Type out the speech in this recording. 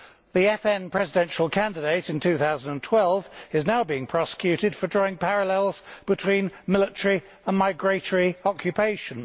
The FN presidential candidate in 2012 is now being prosecuted for drawing parallels between military and migratory occupation.